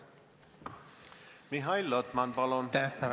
Mihhail Lotman, palun!